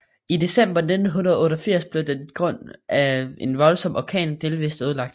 I december 1988 blev den på grund af en voldsom orkan delvist ødelagt